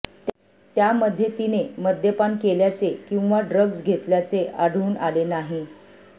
त्यामध्ये तिने मद्यपान केल्याचे किंवा ड्रग्ज घेतल्याचे आढळून आले नाही